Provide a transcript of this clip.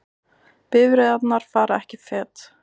Bifreiðarnar fara ekki fet